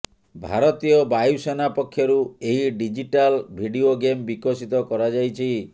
ଭାରତୀୟ ବାୟୁସେନା ପକ୍ଷରୁ ଏହି ଡିଜିଟାଲ ଭିଡିଓ ଗେମ୍ ବିକଶିତ କରାଯାଇଛି